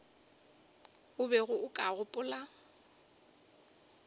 o bego o ka gopola